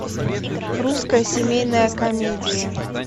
русская семейная комедия